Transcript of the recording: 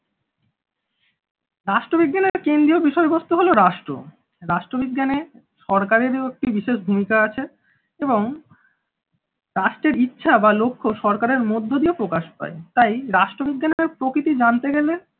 রাষ্ট্রবিজ্ঞানের কেন্দ্রীয় বিষয়বস্তু হলো রাষ্ট্র রাষ্ট্রবিজ্ঞানে সরকারেরও একটি বিশেষ ভূমিকা আছে এবং রাষ্ট্রের ইচ্ছা বা লক্ষ্য সরকারের মধ্য দিয়ে প্রকাশ পায়, তাই রাষ্ট্রবিজ্ঞানের প্রকৃতি জানতে গেলে